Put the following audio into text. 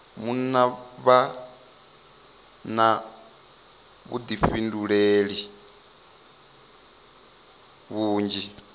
munna vha na vhuḓifhinduleli vhunzhi